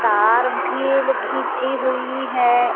तार भी ल घिंची हुई है।